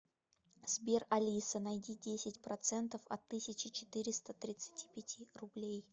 сбер алиса найди десять процентов от тысячи четыреста тридцати пяти рублей